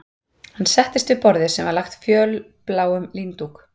Hann settist við borðið sem var lagt fölbláum líndúk